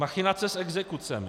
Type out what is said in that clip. Machinace s exekucemi.